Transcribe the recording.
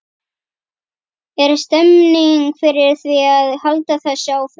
Er stemning fyrir því að halda þessu áfram?